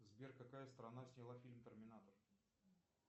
сбер какая страна сняла фильм терминатор